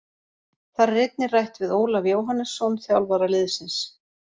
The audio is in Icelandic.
Þar er einnig rætt við Ólaf Jóhannesson þjálfara liðsins.